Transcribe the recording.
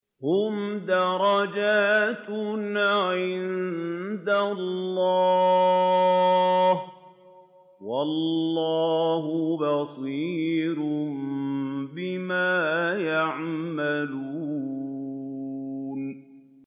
هُمْ دَرَجَاتٌ عِندَ اللَّهِ ۗ وَاللَّهُ بَصِيرٌ بِمَا يَعْمَلُونَ